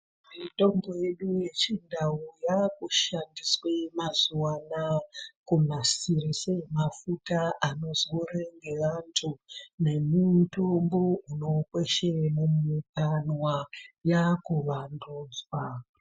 Mitombo yedu yechindau yakushandiswe mazuwa anawa kunasirishe mafuta anozorwe ngevantu nemitombo unokweshe mwukanwa, yakuvandudzwa.